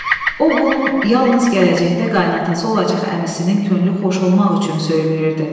O bunu yalnız gələcəkdə qaynası olacaq əmisinin könlünü xoş olmaq üçün söyləyirdi.